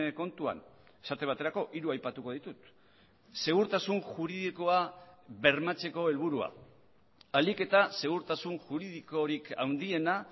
kontuan esate baterako hiru aipatuko ditut segurtasun juridikoa bermatzeko helburua ahalik eta segurtasun juridikorik handiena